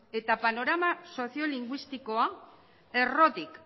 eta panorama soziolinguistikoa errotik